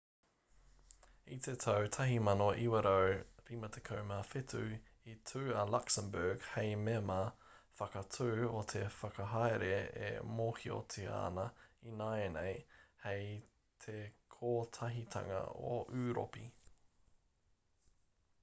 i te tau 1957 i tū a luxembourg hei mema whakatū o te whakahaere e mōhiotia ana ināianei hei te kotahitanga o ūropi